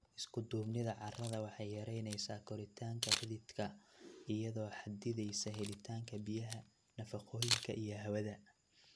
Isku-duubnida carrada waxay yaraynaysaa koritaanka xididka iyadoo xaddidaysa helitaanka biyaha, nafaqooyinka, iyo hawada.